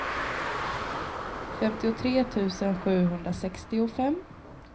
femtiotre tusen sjuhundrasextiofem